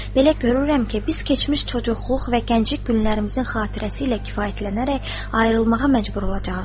Belə görürəm ki, biz keçmiş çoçukluq və gənclik günlərimizin xatirəsi ilə kifayətlənərək ayrılmağa məcbur olacağıq.